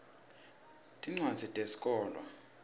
tincwadzi tesikolwa